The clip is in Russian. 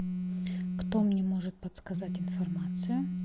кто мне может подсказать информацию